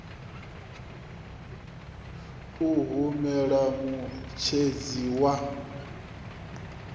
a hu na muṋetshedzi wa